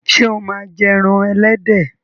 ṣe o ma jé èràn elédè.